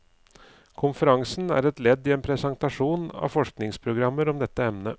Konferansen er et ledd i en presentasjon av et forskningsprogram om dette emnet.